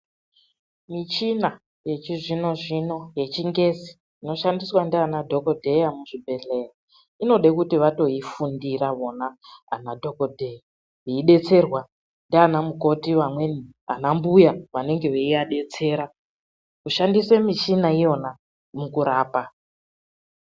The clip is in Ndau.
Muchina yeichizvino zvino yechingezi, inoshandiswa ndianadhokodheya muzvibhehlera, inode kuti vatoifundira vona anadhokodheya, veidetserwa ndianamukoti. Vamweni ana mbuya vanenge veiadetsera kushandisa michina iyona mukurapa.